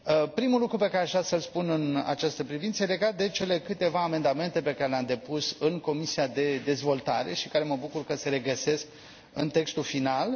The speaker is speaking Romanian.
Primul lucru pe care aș vrea să îl spun în această privință e legat de cele câteva amendamente pe care le am depus în Comisia pentru dezvoltare, care mă bucur că se regăsesc în textul final.